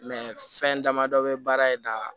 fɛn dama dɔ bɛ baara in da